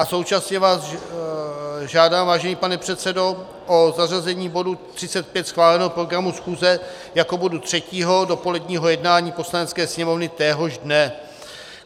A současně vás žádám, vážený pane předsedo, o zařazení bodu 35 schváleného programu schůze jako bodu třetího do poledního jednání Poslanecké sněmovny téhož dne.